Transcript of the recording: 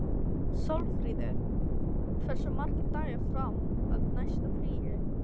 Sólfríður, hversu margir dagar fram að næsta fríi?